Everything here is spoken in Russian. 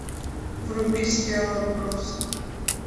вруби сериал отбросы